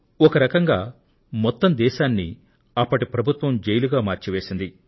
ఒక రకంగా మొత్తం దేశాన్ని అప్పటి ప్రభుత్వం జైలుగా మార్చివేసింది